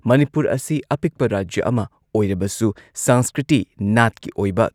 ꯃꯅꯤꯄꯨꯔ ꯑꯁꯤ ꯑꯄꯤꯛꯄ ꯔꯥꯖ꯭ꯌ ꯑꯃ ꯑꯣꯏꯔꯕꯁꯨ ꯁꯪꯁꯀ꯭ꯔꯤꯇꯤ, ꯅꯥꯠꯀꯤ ꯑꯣꯏꯕ